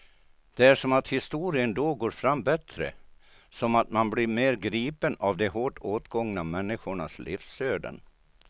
Det är som att historien då går fram bättre, som att man blir mer gripen av de hårt åtgångna människornas livsöden.